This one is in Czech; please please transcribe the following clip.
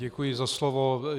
Děkuji za slovo.